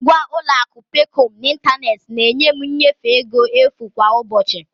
Ngwa ụlọ akụ Peekọm n'ịntanetị na-enye m nnyefe ego efu kwa ụbọchị.